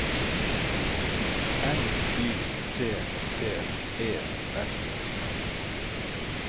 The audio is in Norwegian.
N Y T T E S